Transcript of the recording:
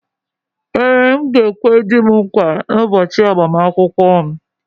Ee, m ga-ekwe di m nkwa n’ụbọchị agbamakwụkwọ m